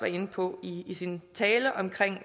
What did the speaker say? inde på i i sin tale omkring